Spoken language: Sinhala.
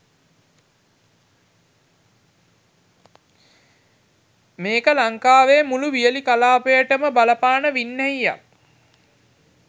මේක ලංකාවේ මුලූ වියළි කලාපයටම බලපාන වින්නැහියක්.